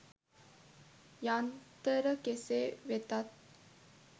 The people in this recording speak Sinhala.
යන්තර කෙසේ වෙතත්